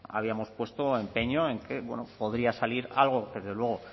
habíamos puesto empeño en que podría salir algo que desde luego